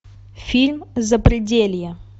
фильм запределье